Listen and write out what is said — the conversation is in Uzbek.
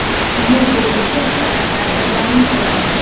Bu bo‘yicha chora tadbirlarni ko‘ramiz.